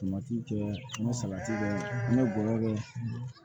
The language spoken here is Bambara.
Samati tɛ an bɛ salati kɛ an bɛ gɔyɔ kɛ